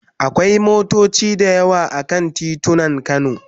Akwai motoci da yawa a kan titunan Kano.